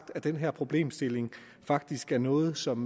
den her problemstilling faktisk er noget som